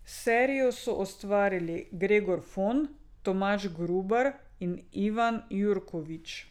Serijo so ustvarili Gregor Fon, Tomaž Grubar in Ivana Jurković.